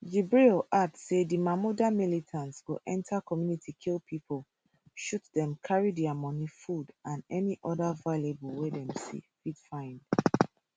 jibril add say di mahmuda militants go enter community kill pipo shoot dem carry dia money food and any oda valuable wey dem fit find